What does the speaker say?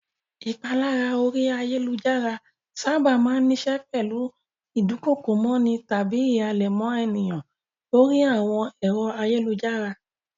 Ìpalára orí ayálujára sábà máa ń níṣe pẹ̀lú ìdunkokomọ́ni tàbí ìhàlẹ̀ mọ́ ènìyàn lórí àwọn ẹ̀rọ ayélujára.